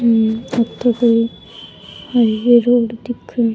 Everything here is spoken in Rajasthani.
ये आ तो कोई हाईवे रोड दिखे है।